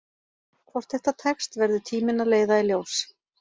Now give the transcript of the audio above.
Hvort þetta tekst verður tíminn að leiða í ljós.